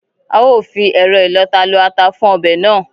A ó fi ẹ̀rọ ìlọta lọ ata fún ọbẹ̀ náà